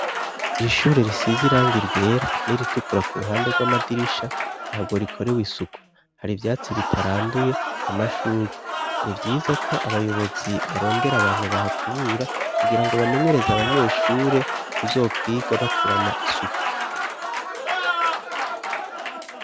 Ishure risize irangi ryera n'iritukura ku ruhande gw'amadirisha ntabwo rikorewe isuku hari ivyatsi bitaranduye amashugwe nivyiza ko abayobozi barondera abantu bahakubura kugira ngo bamenyereze abanyeshure kuzokwiga bakurana isuku